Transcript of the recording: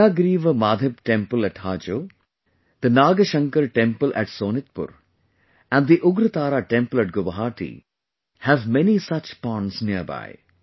The Hayagriva Madheb Temple at Hajo, the Nagashankar Temple at Sonitpur and the Ugratara Temple at Guwahati have many such ponds nearby